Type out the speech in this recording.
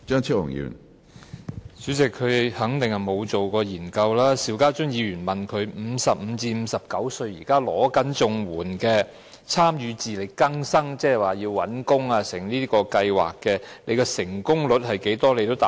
主席，他肯定沒有進行過研究，邵家臻議員問他55歲至59歲現時正領取綜援的參與自力更新計劃人士，即協助他們尋找工作的計劃的成功率為何，他也未能回答。